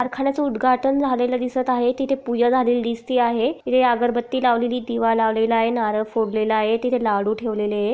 कारखान्याच उद्घाटन झालेल दिसत आहे तिथे पूजा झालेली दीसत आहे इथे अगरबत्ती लावलेली दीवा लावलेला आहे नारळ फोडलेल आहे तिथे लाडू ठेवलेले ये.